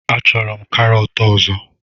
Achọrọ m karọt ọzọ